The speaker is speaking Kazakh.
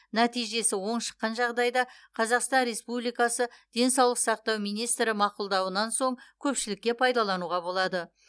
нәтижесі оң шыққан жағдайда қазақстан республикасы денсаулық сақтау министрі мақұлдауынан соң көпшілікке пайдалануға болады